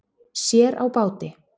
Sér á báti